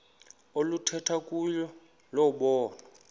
oluthethwa kuyo lobonwa